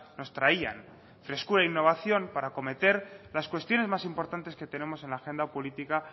nos traían frescura e innovación para acometer las cuestiones más importantes que tenemos en la agenda política